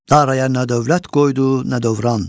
Daraya nə dövlət qoydu, nə dövran.